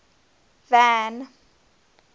van